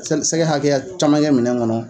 Sɛkɛ hakɛya caman kɛ minɛn kɔnɔ.